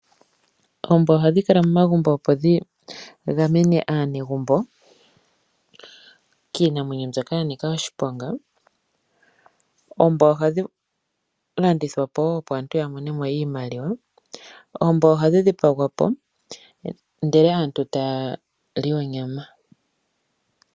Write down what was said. Oombwa ohadhi kala momagumbo opo dhi gamene aanegumbo kiinamwenyo mbyoka ya nika oshiponga. Oombwa ohadhi landithwa po woo opo aantu ya mone mo iimaliwa. Oombwa ohadhi dhipagwa po ndele aantu taya li onyama.